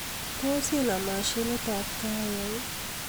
Tos inam mashinit ab kahawek